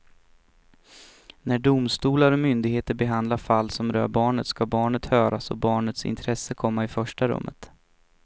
När domstolar och myndigheter behandlar fall som rör barnet ska barnet höras och barnets intresse komma i första rummet.